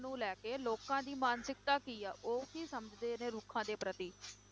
ਨੂੰ ਲੈ ਕੇ ਲੋਕਾਂ ਦੀ ਮਾਨਸਿਕਤਾ ਕੀ ਆ ਉਹ ਕੀ ਸਮਝਦੇ ਨੇ ਰੁੱਖਾਂ ਦੇ ਪ੍ਰਤੀ।